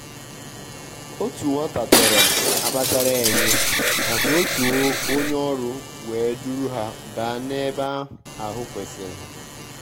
òtù nwàtà chọ̀rọ̀-ákpàchárá é nyé màká òtù ó nyé ọ́rụ́ wèé dùrù hà bàà n’ébè áhụ̀ kwésị́rị́.